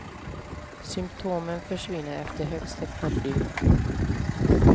Symptomen försvinner efter högst ett par dygn.